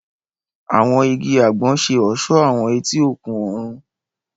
Àwọn ìgi àgbon ṣe ọṣọ awọn eti òkun oòrùn.